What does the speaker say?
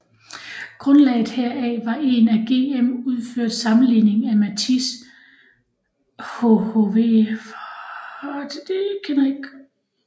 Grundlaget herfor var en af GM udført sammenligning af Matiz hhv